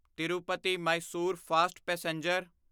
Tirupati Mysore fast passenger